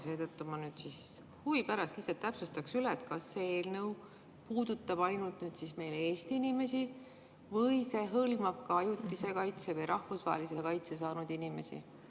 Seetõttu ma huvi pärast lihtsalt täpsustan üle: kas see eelnõu puudutab ainult Eesti inimesi või see hõlmab ka ajutise kaitse või rahvusvahelise kaitse saanud inimesi?